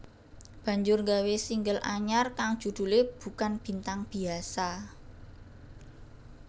banjur nggawe single anyar kang judhulé Bukan Bintang Biasa